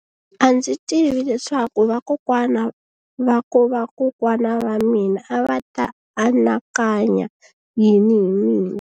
A ndzi tivi leswaku vakokwana-va-vakokwana va mina a va ta anakanya yini hi mina.